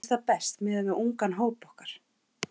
Mér finnst það best miðað við ungan hóp okkar.